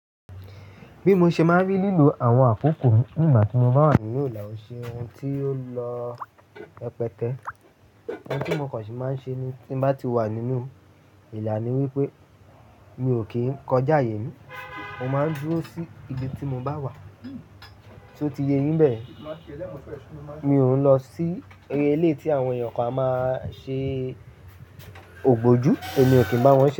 Bí mo ṣe máa ń rí lílo àwọn àkókò ní ìgbà tí mo bá wà ní ìlà-oṣù, ohun tí ó lọ rẹpẹtẹ Ohun tí mo kàn sì máa ń ṣe tí bá ti wà nínú ìlà ni wípé mi ò kí ń kọjá àìyè mi. Mo máa ń dúró sí ibi tí mo bá wà, sé ó ti yé yín báyẹn Mi ò ń lọ sí eré ilé tí àwọn èèyàn kan a máa ṣe ògbójú èmi kì í bá wọn ṣe.